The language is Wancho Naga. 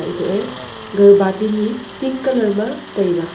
etoh e ga bati ni pink colour ma taiga.